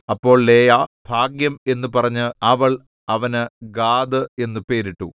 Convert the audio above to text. അപ്പോൾ ലേയാ ഭാഗ്യം എന്നു പറഞ്ഞ് അവൾ അവന് ഗാദ് എന്നു പേരിട്ടു